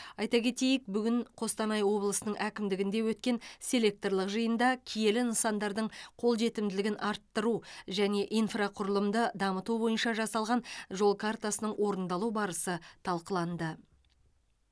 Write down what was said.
айта кетейік бүгін қостанай облысының әкімдігінде өткен селекторлық жиында киелі нысандардың қолжетімділігін арттыру және инфрақұрылымды дамыту бойынша жасалған жол картасының орындалу барысы талқыланды